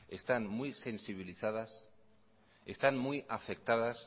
están muy sensibilizadas están muy afectadas